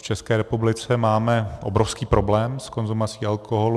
V České republice máme obrovský problém s konzumací alkoholu.